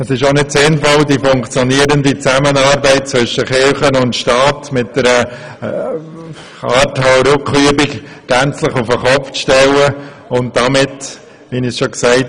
Es ist auch nicht sinnvoll, die funktionierende Zusammenarbeit zwischen Kirche und Staat mit einer Hau-Ruck-Übung gänzlich auf den Kopf zu stellen und damit zu zerstören.